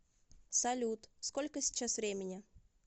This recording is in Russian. салют сколько сейчас времени